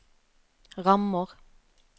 rammer